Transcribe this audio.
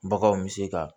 Baganw bɛ se ka